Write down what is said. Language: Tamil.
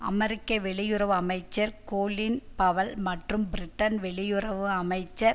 அமெரிக்க வெளியுறவு அமைச்சர் கொலின் பவல் மற்றும் பிரிட்டன் வெளியுறவு அமைச்சர்